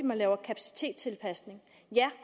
man laver kapacitetstilpasning